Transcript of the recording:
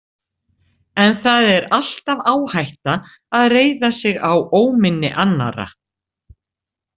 En það er alltaf áhætta að reiða sig á óminni annarra.